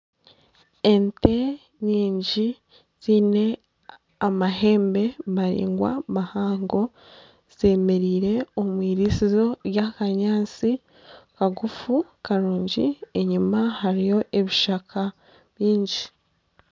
Ente nyingi ziine amahembe maraingwa mahango zemereire omwiriisizo rya kanyaatsi kagufu karungi enyima hariyo ebishaka byingi.